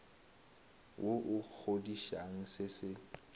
wo o kgodišang se se